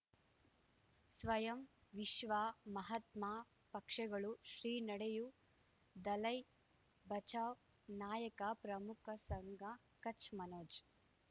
ಸ್ವಯಂ ವಿಶ್ವ ಮಹಾತ್ಮ ಪಕ್ಷಗಳು ಶ್ರೀ ನಡೆಯೂ ದಲೈ ಬಚೌ ನಾಯಕ ಪ್ರಮುಖ ಸಂಘ ಕಚ್ ಮನೋಜ್